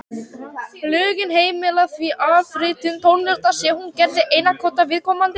Lögin heimila því afritun tónlistar sé hún gerð til einkanota viðkomandi.